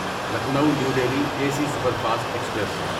Lucknow New Delhi A C superfast express